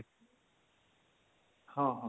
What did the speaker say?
ହଁ ହଁ